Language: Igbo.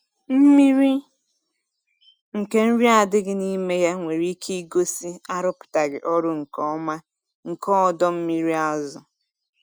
Mmiri nke nri adịghị n’ime ya nwere ike igosi arụpụtaghị ọrụ nke ọma nke ọdọ mmiri azụ.